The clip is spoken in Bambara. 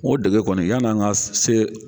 O dege kɔni yanni an ka se